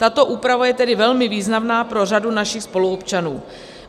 Tato úprava je tedy velmi významná pro řadu našich spoluobčanů.